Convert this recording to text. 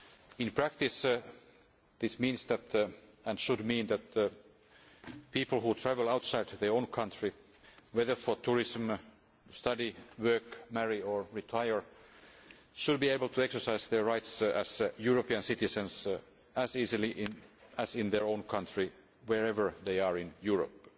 In practice this means, and should mean, that people who travel outside their own country, whether for tourism, study, work, marriage or retirement, should be able to exercise their rights as European citizens as easily as in their own country wherever they are in Europe.